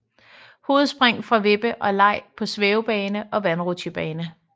Hovedspring fra vippe og leg på svævebane og vandrutsjebane